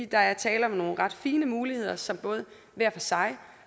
der er tale om nogle ret fine muligheder som både hver for sig